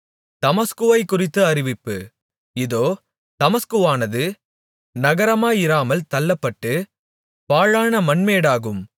தமஸ்குவைக் குறித்த அறிவிப்பு இதோ தமஸ்குவானது நகரமாயிராமல் தள்ளப்பட்டு பாழான மண்மேடாகும்